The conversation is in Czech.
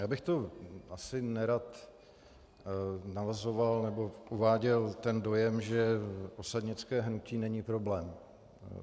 Já bych tu asi nerad navozoval nebo uváděl ten dojem, že osadnické hnutí není problém.